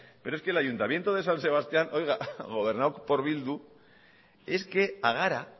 pero es que el ayuntamiento de san sebastián oiga gobernado por bildu es que a gara